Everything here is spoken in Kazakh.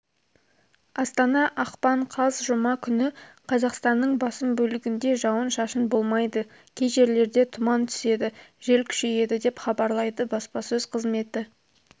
астана ақпан қаз жұма күні қазақстанның басым бөлігінде жауын-шашын болмайды кей жерлерде тұман түседі жел күшейеді деп хабарлайды баспасөз қызметі